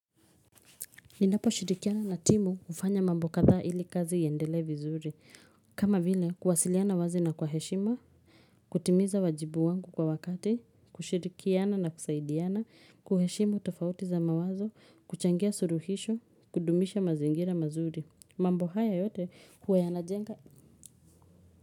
Ninaposhirikiana na timu hufanya mambo kadhaa ili kazi iendelee vizuri, kama vile kuwasiliana wazi na kwa heshima, kutimiza wajibu wangu kwa wakati, kushirikiana na kusaidiana, kuheshimu tofauti za mawazo, kuchangia suluhisho, kudumisha mazingira mazuri, mambo haya yote huwa yanajenga.